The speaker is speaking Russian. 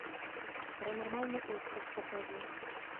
паранормальный остров покажи